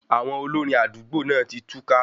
Àwọn olórin àdúgbò náà tí túká